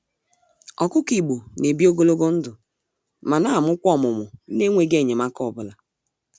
Ọkụkọ Igbo n'ebi ogologo ndụ, ma namụkwa ọmụmụ nenweghi enyemaka ọbula.